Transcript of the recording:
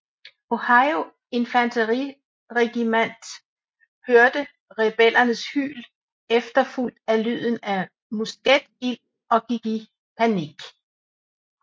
Ohio Infanteriregimant hørte rebellernes hyl efterfulgt af lyden af musketild og gik i panik